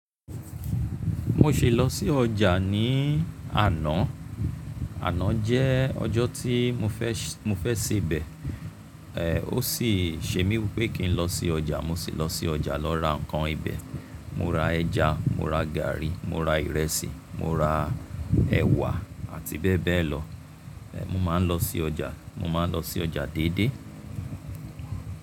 Mo ṣì lọ sí ọjà ní àná. Àná jẹ́ ọjọ́ tí mo fẹ́, mo fẹ́ sebẹ̀, ẹ, ó sì ṣe mí wí pé kí n lọ sí ọjà. Mo sì lọ sí ọjà lọ ra ǹkan ibẹ̀. Mo ra ẹja, mo ra gàárì, mo ra ìrẹsì, mo ra ẹ̀wà àti bẹ́ẹ̀ bẹ́ẹ̀ lọ. Mo máa ń lọ sí ọjà, mo máa ń lọ sí ọjà déédé.